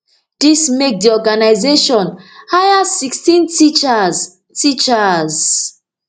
dis make di organisation hire sixteen teachers teachers